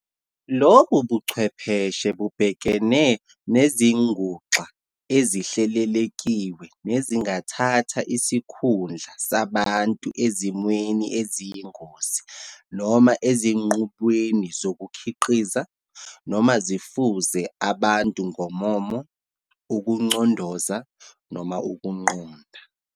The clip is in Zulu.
Lobubuchwepheshe bubhekene nezinguxa ezihlelelekiwe nezingathatha isikhundla sabantu ezimweni eziyingozi noma ezinqubweni zokukhiqiza, noma zifuze abantu ngommomo, ukucondoza, noma ukuqonda.